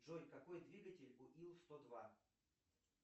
джой какой двигатель у ил сто два